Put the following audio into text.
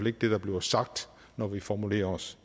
ikke det der bliver sagt når vi formulerer os